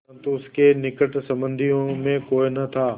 परन्तु उसके निकट संबंधियों में कोई न था